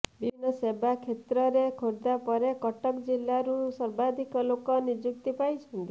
ବିଭିନ୍ନ ସେବା କ୍ଷେତ୍ରରେ ଖୋର୍ଦ୍ଧା ପରେ କଟକ ଜିଲାରୁ ସର୍ବାଧିକ ଲୋକ ନିଯୁକ୍ତି ପାଇଛନ୍ତି